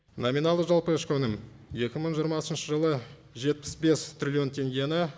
номиналды жалпы ішкі өнім екі мың жиырмасыншы жылы жетпіс бес триллион теңгені